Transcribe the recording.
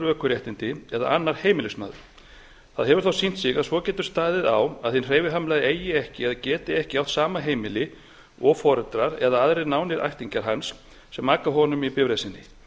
ökuréttindi eða annar heimilismaður það hefur þó sýnt sig að svo getur staðið á að hinn hreyfihamlaði eigi ekki eða geti ekki átt sama heimili og foreldrar eða aðrir nánir ættingjar hans sem aka honum í bifreið sinni